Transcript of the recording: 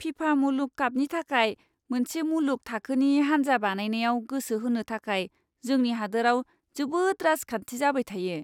फिफा मुलुग कापनि थाखाय मोनसे मुलुग थाखोनि हान्जा बानायनायाव गोसो होनो थाखाय जोंनि हादोराव जोबोद राजखान्थि जाबाय थायो!